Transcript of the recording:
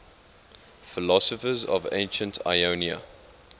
philosophers of ancient ionia